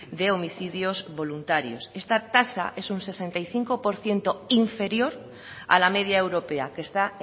de homicidios voluntarios esta tasa es un sesenta y cinco por ciento inferior a la media europea que está